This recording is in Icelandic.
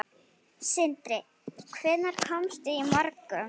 Sindri: Hvenær komstu í morgun?